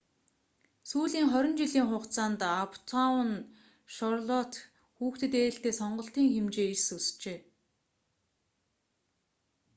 сүүлийн 20 жилийн хугацаанд аптаун шарлоттe хүүхдэд ээлтэй сонголтын хэмжээ эрс өсжээ